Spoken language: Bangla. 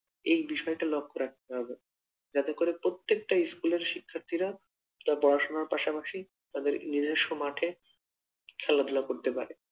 এই বিষয়টা লক্ষ্য রাখতে হবে, যাতে করে প্রত্যেকটা স্কুলের শিক্ষার্থীরা পড়াশোনার পাশাপাশি তাদের নিজস্ব মাঠে খেলাধুলা করতে পারে।